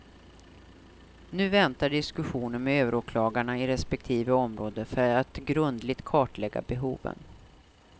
Nu väntar diskussioner med överåklagarna i respektive område för att grundligt kartlägga behoven.